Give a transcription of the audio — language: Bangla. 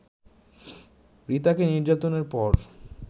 রিতাকে নির্যাতনের পর